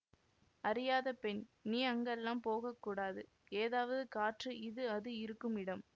அறியாத பெண் நீ அங்கெல்லாம் போகக்கூடாது ஏதாவது காற்று இது அது இருக்கும் இடம்